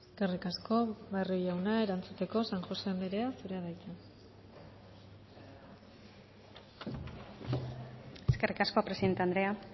eskerrik asko barrio jauna erantzuteko san josé andrea zurea da hitza eskerrik asko presidente andrea